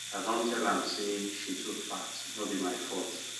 i don tell am say she too fat no be my fault